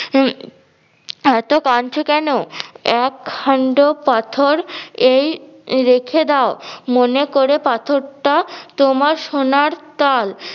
উম এত্ত কানছো কেন? এক খান্ড পাথর এই রেখে দাও মনে করে পাথরটা তোমার সোনার তাল